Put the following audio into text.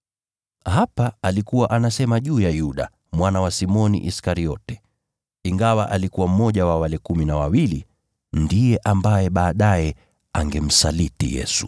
(Hapa alikuwa anasema juu ya Yuda, mwana wa Simoni Iskariote. Ingawa alikuwa mmoja wa wale kumi na wawili, ndiye ambaye baadaye angemsaliti Yesu.)